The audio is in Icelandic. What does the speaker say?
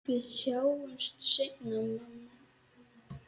Við sjáumst seinna, mamma.